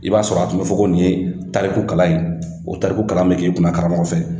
I b'a sɔrɔ a tun bɛ fɔ ko nin ye tariku kalan ye o tariku kalan bɛ k'i kun karamɔgɔ fɛ.